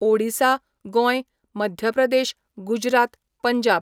Odisha, Goem, Madhya Pradesh, Gujarat, Punjab